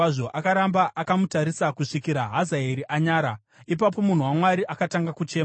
Akaramba akamutarisa kusvikira Hazaeri anyara. Ipapo munhu waMwari akatanga kuchema.